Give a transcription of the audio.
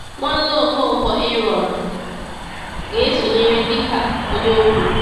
Nwanne Ọkọnkwo, Ààrọ̀n, ga-esonyere dị ka onye okwu.